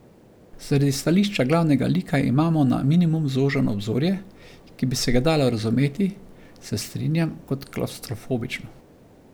Zaradi stališča glavnega lika imamo na minimum zožano obzorje, ki bi se ga dalo razumeti, se strinjam, kot klavstrofobično.